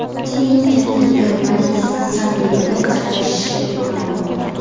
Putinning Katta yigirmalik sammitida qatnashishi ma’lum bo‘ldi.